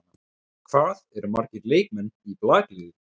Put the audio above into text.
Hvað eru margir leikmenn í blakliði?